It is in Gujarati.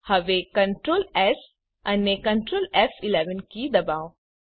હવે Ctrl એસ અને Ctrl ફ11 કીઓ ડબાઓ